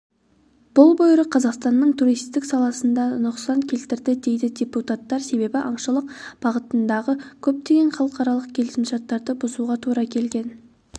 бұл бұйрық қазақстанның туристік саласына да нұқсан келтірді дейді депутаттар себебі аңшылық бағытындағы көптеген халықаралық келісімшарттарды бұзуға тура келген